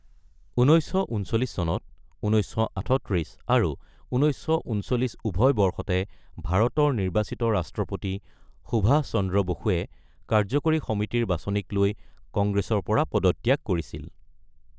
১৯৩৯ চনত ১৯৩৮ আৰু ১৯৩৯ উভয় বৰ্ষতে ভাৰতৰ নিৰ্বাচিত ৰাষ্ট্ৰপতি সুভাষ চন্দ্ৰ বসুৱে কাৰ্য্যকৰী সমিতিৰ বাচনিক লৈ কংগ্ৰেছৰ পৰা পদত্যাগ কৰিছিল।